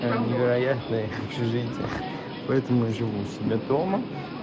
невероятная общежития поэтому я живу у себя дома